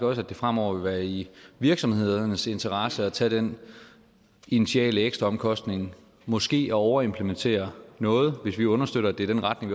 også at det fremover vil være i virksomhedernes interesse at tage den initiale ekstraomkostning måske at overimplementere noget hvis vi understøtter at det er den retning